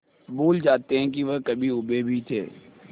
भूल जाते हैं कि वह कभी ऊबे भी थे